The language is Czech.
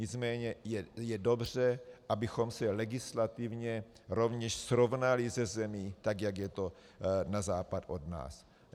Nicméně je dobře, abychom se legislativně rovněž srovnali se zemí tak, jak je to na západ od nás.